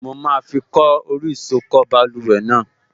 Mo máa fi kọ́ orí ìsokọ́ báluwẹ̀ náà